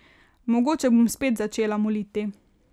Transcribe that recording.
Mogoče bom spet začela moliti.